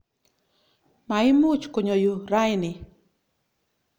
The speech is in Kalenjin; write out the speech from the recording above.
Maimuch konyo yu raini.